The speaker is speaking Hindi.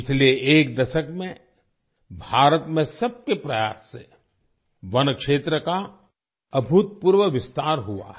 पिछले एक दशक में भारत में सबके प्रयास से वन क्षेत्र का अभूतपूर्व विस्तार हुआ है